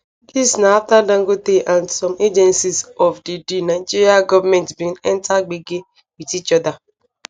dis na aftadangote and some agencies of di di nigeria gomentbin enta gbege wit each oda